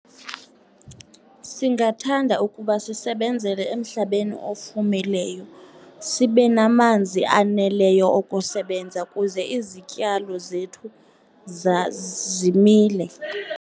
Singathanda ukuba sisebenzele emhlabeni ofumileyo, sibe namanzi aneleyo okusebenza kuze izityalo zethu zimile.